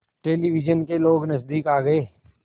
television के लोग नज़दीक आ गए